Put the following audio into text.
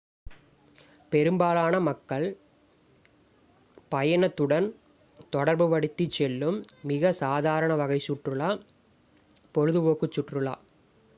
பெரும்பாலான மக்கள் பயணத்துடன் தொடர்பு படுத்திச் செல்லும் மிக சாதாரண வகை சுற்றுலா பொழுதுபோக்குச் சுற்றுலா